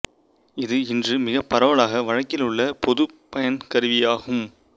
இது இன்று மிகப் பரவலாக வழக்கில் உள்ள பொதுப்பயன்கருவி ஆகும்